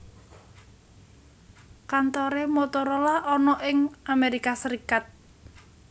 Kantore Motorola ana ing Amerika Serikat